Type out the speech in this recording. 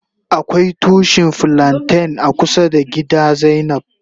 Akwai tushi flanten a kusa da gida zainab.